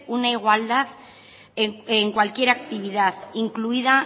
una igualdad en cualquier actividad incluida